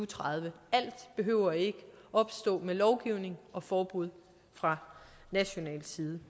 tredive alt behøver ikke at opstå med lovgivning og forbud fra national side